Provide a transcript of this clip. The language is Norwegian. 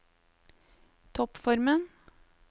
toppformen